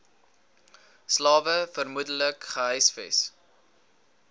slawe vermoedelik gehuisves